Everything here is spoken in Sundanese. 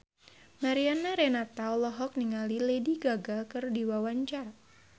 Mariana Renata olohok ningali Lady Gaga keur diwawancara